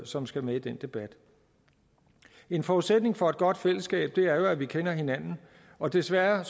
som skal med i den debat en forudsætning for et godt fællesskab er jo at vi kender hinanden og desværre